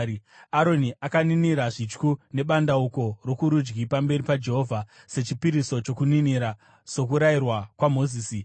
Aroni akaninira zvityu nebandauko rokurudyi pamberi paJehovha sechipiriso chokuninira sokurayirwa kwaMozisi.